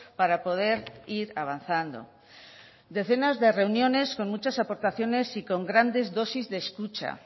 para poder ir avanzando decenas de reuniones con muchas aportaciones y con grandes dosis de escucha